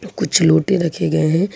कुछ लोटे रखे गए हैं।